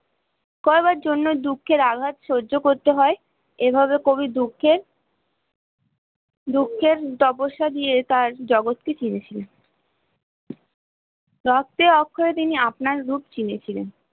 করবার জন্য দুঃখের আঘাত সহ্য করতে হয় এভাবে কবি দুঃখের দুঃখের তপস্যা দিয়ে তার জগত কে চিহ্নে ছিলেন তিনি আপনার রূপ চিহ্নে ছিলেন